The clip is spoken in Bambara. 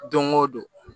Don o don